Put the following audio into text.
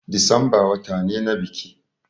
Disamba wata ne na biki